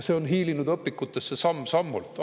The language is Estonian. See on hiilinud õpikutesse samm-sammult.